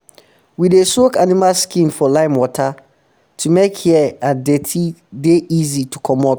we dey soak animal skin for limewater to make hair and deti dey easy to comot